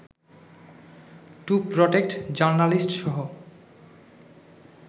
two protect জার্নালিস্টসহ